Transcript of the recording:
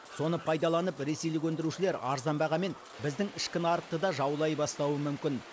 соны пайдаланып ресейлік өндірушілер арзан бағамен біздің ішкі нарықты да жаулай бастауы мүмкін